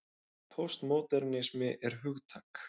Póstmódernismi er hugtak.